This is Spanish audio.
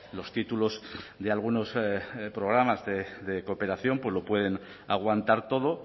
los títulos de algunos programas de cooperación pues lo pueden aguantar todo